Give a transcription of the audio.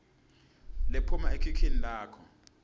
lephuma ekhikhini lakho